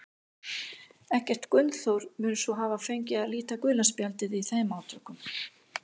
Eggert Gunnþór mun svo hafa fengið að líta gula spjaldið í þeim átökum.